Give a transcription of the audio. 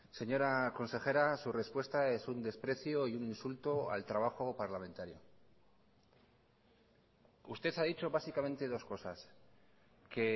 señora consejera su respuesta es un desprecio y un insulto al trabajo parlamentario usted ha dicho básicamente dos cosas que